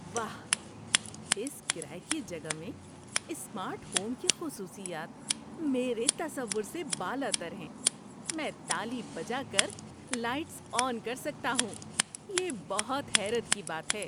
واہ، اس کرایے کی جگہ میں سمارٹ ہوم کی خصوصیات میرے تصور سے بالاتر ہیں۔ میں تالی بجا کر لائٹس آن کر سکتا ہوں، یہ بہت حیرت کی بات ہے!